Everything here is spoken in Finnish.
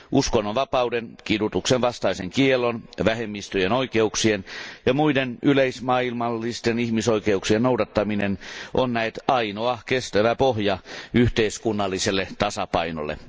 Uskonnonvapauden, kidutuksenvastaisen kiellon, vähemmistöjen oikeuksien ja muiden yleismaailmallisten ihmisoikeuksien noudattaminen on näet ainoa kestävä pohja yhteiskunnalliselle tasapainolle.